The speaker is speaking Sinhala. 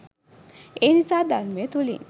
එනිසා ධර්මය තුලින්